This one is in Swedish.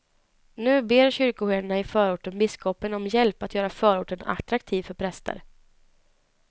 Nu ber kyrkoherdarna i förorten biskopen om hjälp att göra förorten attraktiv för präster.